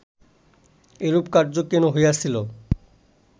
এরূপ কার্য কেন হইয়াছিল